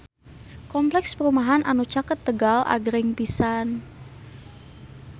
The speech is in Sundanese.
Kompleks perumahan anu caket Tegal agreng pisan